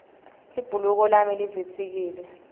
libhuluko lami livitsikile